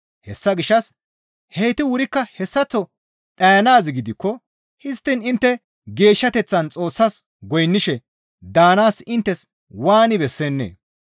Hessa gishshas heyti wurikka hessaththo dhayanaaz gidikko histtiin intte geeshshateththan Xoossas goynnishe daanaas inttes waani bessennee?